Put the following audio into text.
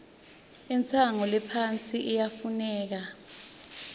intshengo lephasi iyafuneka